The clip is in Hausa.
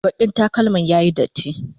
bakin takalman ya Yi datti